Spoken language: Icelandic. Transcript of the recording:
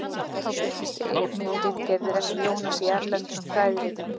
Þá birtust einnig ritgerðir eftir Jónas í erlendum fræðiritum.